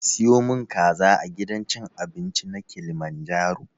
Ka siyo mun kaza a gidan cin abinci na kilimanjaro?